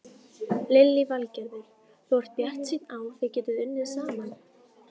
Lillý Valgerður: Þú ert bjartsýnn á þið getið unnið saman?